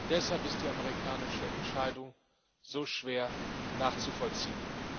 Deshalb ist die amerikanische Entscheidung so schwer nachzuvollziehen.